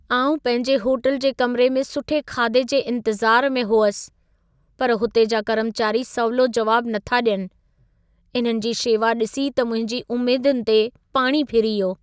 आउं पंहिंजे होटल जे कमरे में सुठे खाधे जे इंतिज़ार में हुअसि, पर हुते जा कर्मचारी सवलो जवाब नथा ॾियनि। इन्हनि जी शेवा ॾिसी त मुंहिंजी उमेदुनि ते पाणी फिरी वियो।